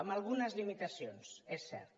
amb algunes limitacions és cert